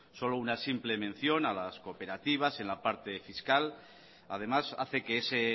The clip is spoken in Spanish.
solo una simple mención a las cooperativas en la parte fiscal además hace que ese